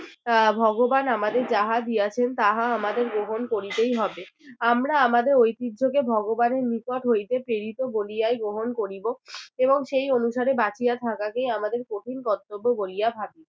আহ ভগবান আমাদের যাহা দিয়াছেন তাহা আমাদের গ্রহণ করিতেই হবে আমরা আমাদের ঐতিহ্যকে ভগবানের নিকট হইতে পেরিত বলিয়াই গ্রহণ করিব এবং সেই অনুসারে বাঁচিয়া থাকাকে আমাদের কঠিন কর্তব্য বলিয়া ভাবি